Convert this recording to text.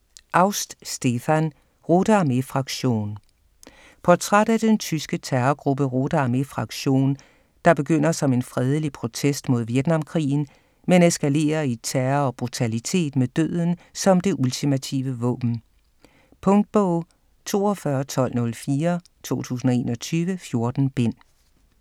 Aust, Stefan: Rote Armee Fraktion Portræt af den tyske terrorgruppe Rote Armee Fraktion der begynder som en fredelig protest mod Vietnamkrigen, men eskalerer i terror og brutalitet med døden som det ultimative våben. Punktbog 421204 2021. 14 bind.